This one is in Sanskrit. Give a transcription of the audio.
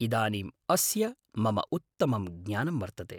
इदानीम् अस्य मम उत्तमं ज्ञानं वर्तते।